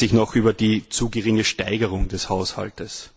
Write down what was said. Man beschwert sich noch über die zu geringe Steigerung des Haushalts.